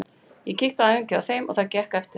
Ég kíkti á æfingu hjá þeim og það gekk eftir.